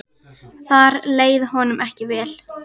Þar leið honum ekki vel.